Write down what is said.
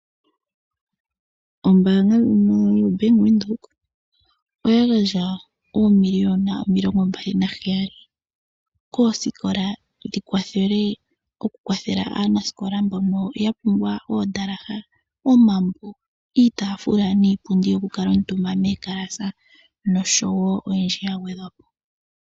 Ombaanga ndjoka yobank Windhoek oya gandja oomiliona omilongo mbali naheyali koosikola, opo yikwathele aanasikola mboka yapumbwa oondalaha, omambo, iipundi noshowo iitafula nikwawo oyindji ya gwedhwa po.